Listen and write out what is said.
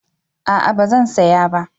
A'a ba zan saya ba